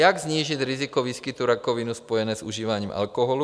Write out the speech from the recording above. Jak snížit riziko výskytu rakoviny spojené s užíváním alkoholu?